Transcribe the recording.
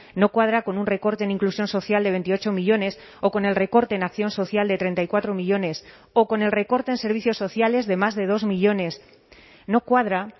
no cuadra con un recorte en inclusión social de veintiocho millónes o con el recorte en acción social de treinta y cuatro millónes o con el recorte en servicios sociales de más de dos millónes no cuadra